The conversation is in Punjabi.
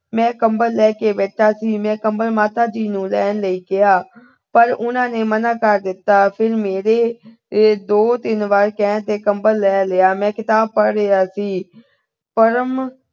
ਮੈਂ ਕੰਬਲ ਲੈ ਕੇ ਬੈਠਾ ਸੀ। ਮੈਂ ਕੰਬਲ ਮਾਤਾ ਜੀ ਨੂੰ ਲੈਣ ਲਈ ਕਿਹਾ। ਪਰ ਉਹਨਾਂ ਨੇ ਮਨਾ ਕਰ ਦਿੱਤਾ। ਫਿਰ ਮੇਰੇ ਦੋ-ਤਿੰਨ ਵਾਰ ਕਹਿਣ ਤੇ ਕੰਬਲ ਲੈ ਲਿਆ। ਮੈਂ ਕਿਤਾਬ ਪੜ੍ਹ ਰਿਹਾ ਸੀ। ਪਰਮ